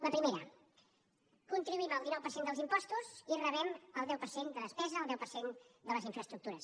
la primera contribuïm amb el dinou per cent als impostos i rebem el deu per cent de despesa el deu per cent de les infraestructures